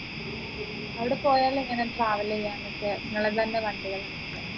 അവിടെ പോയാൽ എങ്ങനെ travel ചെയ്യാനൊക്കെ നിങ്ങളതന്നെ വണ്ടികള് ഉണ്ടോ